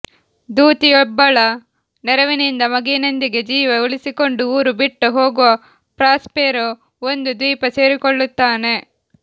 ದೂತಿಯೊಬ್ಬಳ ನೆರವಿನಿಂದ ಮಗುವಿನೊಂದಿಗೆ ಜೀವ ಉಳಿಸಿಕೊಂಡು ಊರು ಬಿಟ್ಟು ಹೋಗುವ ಪ್ರಾಸ್ಪೆರೋ ಒಂದು ದ್ವೀಪ ಸೇರಿಕೊಳ್ಳುತ್ತಾನೆ